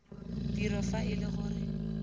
tiro fa e le gore